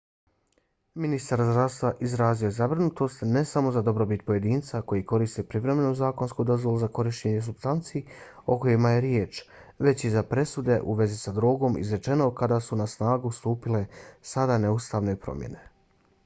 ministar zdravstva izrazio je zabrinutost ne samo za dobrobit pojedinaca koji koriste privremenu zakonsku dozvolu za korištenje supstanci o kojima je riječ već i za presude u vezi sa drogom izrečene od kada su na snagu stupile sada neustavne promjene